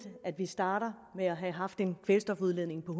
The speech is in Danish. at vi starter med at have haft en kvælstofudledning på